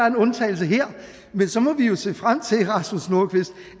en undtagelse her men så må vi jo se frem til rasmus nordqvist